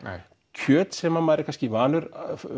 kjöt sem að maður er kannski vanur